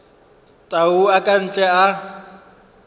tau a ka ntle a